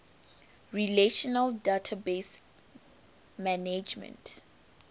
relational database management